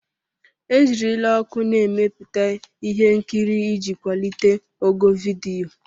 E jirila ọkụ na-emepụta ihe nkiri iji kwalite ogo vidiyo.